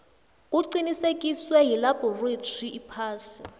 kuqinisekiswe yilabhorathri iphasi